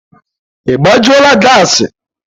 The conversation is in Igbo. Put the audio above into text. Ị gbajula gassi?